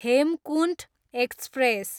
Hemkunt express